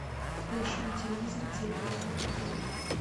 поищи на телевизоре телеканал футбол